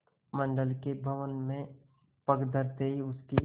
मंडल के भवन में पग धरते ही उसकी